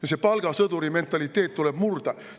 Aga see palgasõduri mentaliteet tuleb murda!